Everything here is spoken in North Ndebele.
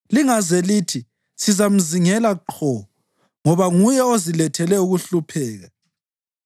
Lingaze lithi, ‘Sizamzingela qho ngoba nguye ozilethele ukuhlupheka,’